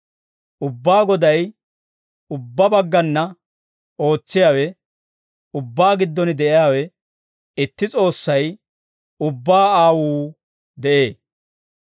Ubbaa Goday, ubbaa baggana ootsiyaawe, ubbaa giddon de'iyaawe, itti S'oossay, ubbaa Aawuu de'ee.